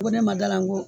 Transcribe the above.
Ko ne ma dalan n ko